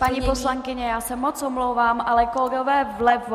Paní poslankyně, já se moc omlouvám, ale kolegové vlevo!